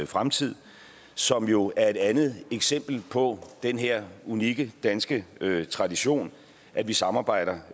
fremtid som jo er et andet eksempel på den her unikke danske tradition at vi samarbejder